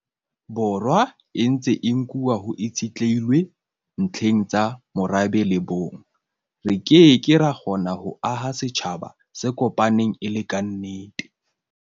Borwa e ntse e nkuwa ho itshitlehilwe ntlheng tsa morabe le bong, re ke ke ra kgona ho aha setjhaba se kopaneng e le kannete.